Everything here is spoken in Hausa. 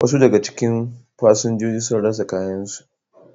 Wasu daga cikin fasinjojin sun rasa kayansu.